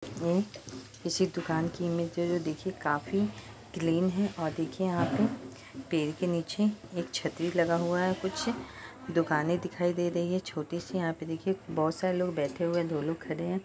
ये किसी दुकान की इमेज देखिये काफी क्लीन है और देखिये यहाँ पे पेड़ के नीचे एक छतरी लगा हुआ है| कुछ दुकाने दिखाई दे रही हैं छोटी सी | यहाँ पर देखिये बहुत सारे लोग बैठे दो लोग खड़े हैं।